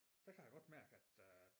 Der kan jeg godt mærke at øh